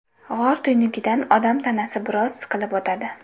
G‘or tuynugidan odam tanasi biroz siqilib o‘tadi.